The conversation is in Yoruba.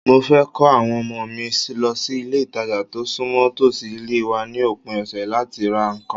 Mo fẹ́ ko àwọn ọmọ mi lọ sí ilé-ìtàjà tó súnmọ́ tòsí ilé wa ni opin ọ̀sẹ̀ láti ra nǹkan